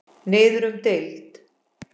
Niður um deild